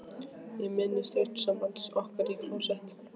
Ég minnist augnsambands okkar í klósett